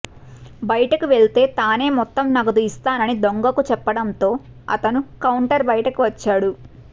బయటకు వెళ్తే తానే మొత్తం నగదు ఇస్తానని దొంగకు చెప్పడంతో అతను కౌంటర్ బయటకు వచ్చాడు